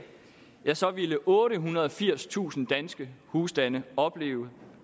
ja så ville ottehundrede og firstusind danske husstande opleve